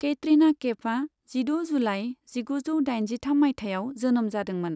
केटरिना केफआ जिद' जुलाइ जिगुजौ दाइनजिथाम मायथाइयाव जोनोम जादोंमोन।